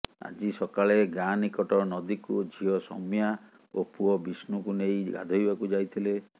ଆଜି ସକାଳେ ଗାଁ ନିକଟ ନଦୀକୁ ଝିଅ ସୌମ୍ୟା ଓ ପୁଅ ବିଷ୍ଣୁକୁ ନେଇ ଗାଧୋଇବାକୁ ଯାଇଥିଲେ